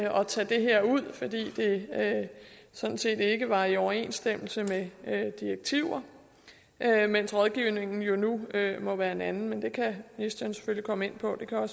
tage det her ud fordi det sådan set ikke var i overensstemmelse med direktiver mens rådgivningen jo nu må være en anden det kan ministeren selvfølgelig komme ind på det kan